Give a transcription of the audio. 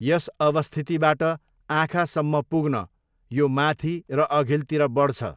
यस अवस्थितिबाट आँखासम्म पुग्न यो माथि र अघिल्तिर बढ्छ।